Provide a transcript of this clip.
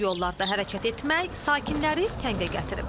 Çala-çuxurlu yollarda hərəkət etmək sakinləri təngə gətirib.